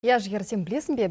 иә жігер сен білесің бе